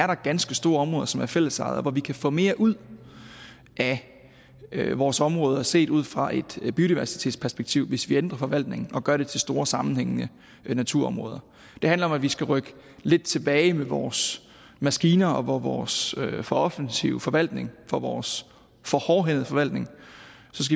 der er ganske store områder som er fællesejet og hvor vi kan få mere ud af vores områder set ud fra et biodiversitetsperspektiv hvis vi ændrer forvaltningen og gør det til store sammenhængende naturområder det handler om at vi skal rykke lidt tilbage med vores maskiner og vores for offensive forvaltning for vores for hårdhændede forvaltning